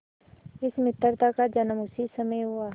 इस मित्रता का जन्म उसी समय हुआ